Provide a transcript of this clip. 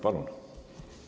Palun!